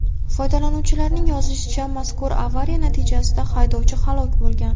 Foydalanuvchilarning yozishicha, mazkur avariya natijasida haydovchi halok bo‘lgan.